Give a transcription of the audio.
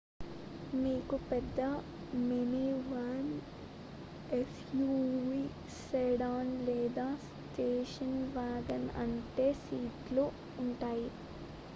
మీకు పెద్ద minivan SUV sedan లేదా స్టేషన్ వాగన్ ఉంటే సీట్లు ఉంటాయి